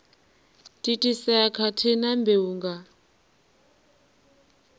thithisea khathihi na mbeu nga